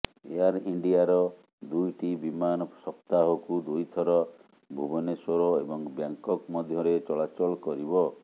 air ଇଣ୍ଡିଆର ଦୁଇଟି ବିମାନ ସପ୍ତାହକୁ ଦୁଇ ଥର ଭୁବନେଶ୍ୱର ଏବଂ ବ୍ୟାଙ୍ଗ୍କକ୍ ମଧ୍ୟରେ ଚଳାଚଳ କରିବ